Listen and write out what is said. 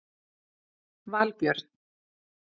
Valbjörn